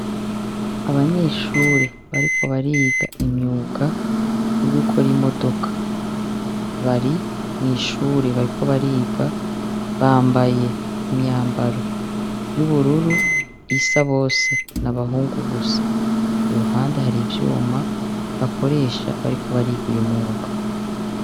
Abanyeshure bariko bariga imyuga yo gukora imodoka; bari mw'ishure bariko bariga. Bambaye imyambaro y'ubururu isa bose. Ni abahungu gusa. Iruhande hari ivyuma bakoresha bariko bariga uyu mwuga